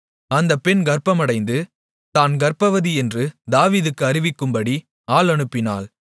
அந்தப் பெண் கர்ப்பமடைந்து தான் கர்ப்பவதியென்று தாவீதுக்கு அறிவிக்கும்படி ஆள் அனுப்பினாள்